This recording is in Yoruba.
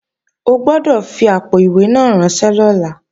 O gbọ́dọ̀ fi àpò-ìwé náà ránṣẹ́ lọ́la!